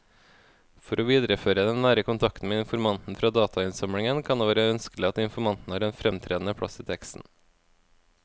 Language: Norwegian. For å videreføre den nære kontakten med informanten fra datainnsamlingen kan det være ønskelig at informanten har en fremtredende plass i teksten.